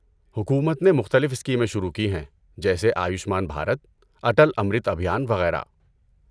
حکومت نے مختلف اسکیمیں شروع کی ہیں جیسے آیوشمان بھارت، اٹل امرت ابھیان، وغیرہ۔